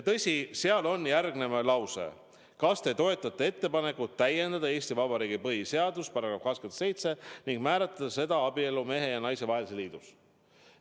Tõsi, esitatud eelnõus on küsimus: kas te toetate ettepanekut täiendada Eesti Vabariigi põhiseaduse § 27 ning määratleda abielu mehe ja naise vahelise liiduna?